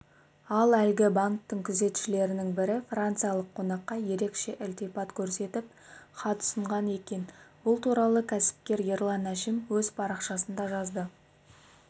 ал әлгі банктің күзетшілерінің бірі франциялық қонаққа ерекше ілтипат көрсетіп хат ұсынған екен бұл туралы кәсіпкер ерлан әшім өз парақшасында жазды